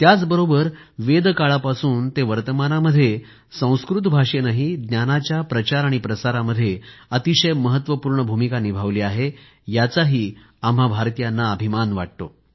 त्याचबरोबर वेदकाळापासून ते वर्तमानामध्ये संस्कृत भाषेनेही ज्ञानाच्या प्रचार प्रसारामध्ये अतिशय महत्वपूर्ण भूमिका निभावली आहे याचाही आम्हां भारतीयांना अभिमान वाटतो